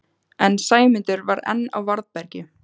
En Sæmundur var enn á varðbergi.